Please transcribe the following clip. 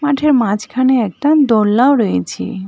মাঠের মাঝখানে একটা দোলনাও রয়েছে।